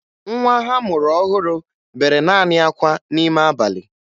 Nwa ha a mụrụ ọhụrụ bere naanị akwa n'ime abalị